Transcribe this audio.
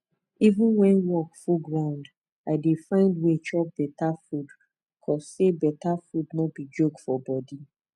even when work full ground i dey find way chop betta food cause say betta food no be joke for bodi